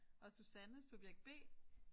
Og Susanne subjekt B